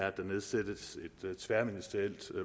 at der nedsættes et tværministerielt